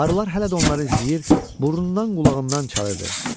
Arılar hələ də onları izləyir, burnundan, qulağından çalırdı.